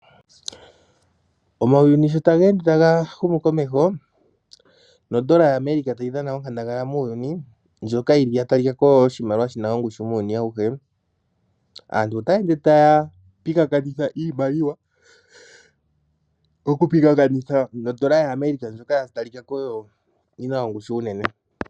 Omauyuni sho taga ende taga yi komeho nondola ya America tayi dhana onkandangala muuyuni, ndjoka yili ya talikako onga oshimaliwa shina ongushu muuyuni awuhe, aantu otaya ende taya pingathanitha iimaliwa. Okupingathanitha nondola ya America ndjoka ya talika ko oyo yina ongushu onene.